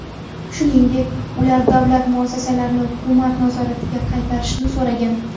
Shuningdek, ular davlat muassasalarini hukumat nazoratiga qaytarishni so‘ragan.